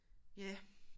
Ja